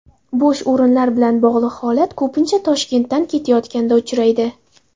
Bo‘sh o‘rinlar bilan bog‘liq holat ko‘pincha Toshkentdan ketayotganda uchraydi.